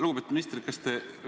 Lugupeetud minister!